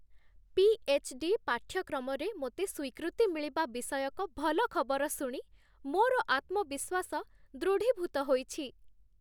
PhD. ପାଠ୍ୟକ୍ରମରେ ମୋତେ ସ୍ୱୀକୃତି ମିଳିବା ବିଷୟକ ଭଲ ଖବର ଶୁଣି ମୋର ଆତ୍ମ ବିଶ୍ୱାସ ଦୃଢ଼ିଭୂତ ହୋଇଛି।